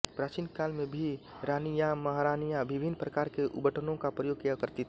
प्राचीनकाल में भी रानियांमहारानियां विभिन्न प्रकार के उबटनों का प्रयोग किया करती थीं